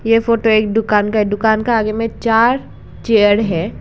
ये फोटो एक दुकान का है दुकान का आगे में चार चेयर है।